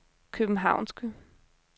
københavnske